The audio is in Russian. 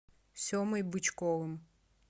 семой бычковым